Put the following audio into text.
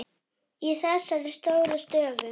Í þessari stóru stofu?